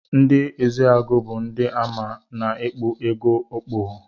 Ndi ezeagu bu ndi amama na ikpụ ego okpogho.